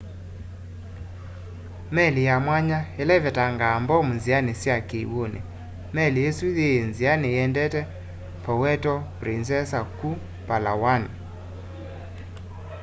meli ya mwanya ila ivetangaa mbomu nziani sya kiw'uni meli isu yii nziani iendete puerto princesa ku palawan